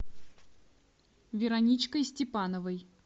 вероничкой степановой